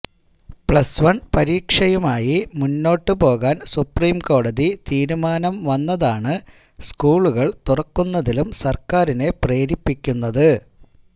plus one പരീക്ഷയുമായി മുന്നോട്ട് പോകാൻ സുപ്രീംകോടതി തീരുമാനം വന്നതാണ് സ്കൂളുകൾ തുറക്കുന്നതിലും സർക്കാരിനെ പ്രേരിപ്പിക്കുന്നത്